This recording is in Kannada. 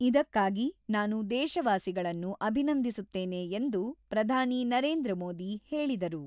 ಇದಕ್ಕಾಗಿ ನಾನು ದೇಶವಾಸಿಗಳನ್ನು ಅಭಿನಂದಿಸುತ್ತೇನೆ ಎಂದು ಪ್ರಧಾನಿ ನರೇಂದ್ರ ಮೋದಿ ಹೇಳಿದರು.